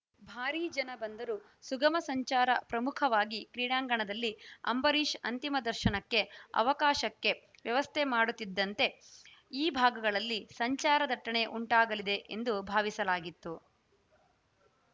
ಭಾರಿ ಜನ ಬಂದರೂ ಸುಗಮ ಸಂಚಾರ ಪ್ರಮುಖವಾಗಿ ಕ್ರೀಡಾಂಗಣದಲ್ಲಿ ಅಂಬರೀಶ್‌ ಅಂತಿಮ ದರ್ಶನಕ್ಕೆ ಅವಕಾಶಕ್ಕೆ ವ್ಯವಸ್ಥೆ ಮಾಡುತ್ತಿದ್ದಂತೆ ಈ ಭಾಗಗಳಲ್ಲಿ ಸಂಚಾರ ದಟ್ಟಣೆ ಉಂಟಾಗಲಿದೆ ಎಂದು ಭಾವಿಸಲಾಗಿತ್ತು